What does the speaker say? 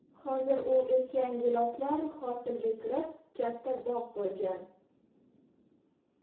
Hozir u ekkan giloslar hosilga kirib, katta bog‘ bo‘lgan.